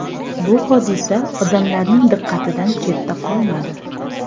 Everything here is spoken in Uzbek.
Bu hodisa odamlarning diqqatidan chetda qolmadi.